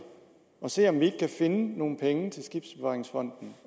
at se om vi kan finde nogle penge til skibsbevaringsfonden